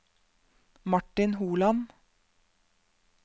Martin Holand